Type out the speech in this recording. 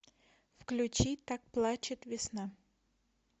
включи так плачет весна